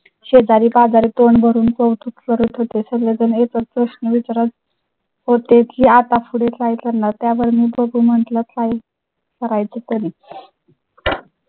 शेजारी पाजारी तोंड भरून कौतुक करत होते. सगळे तुम्ही पण प्रश्न विचारा. होते की आता पुढे काय करणार? त्यावर मी बघु म्हटलं. काही करायचे तरी.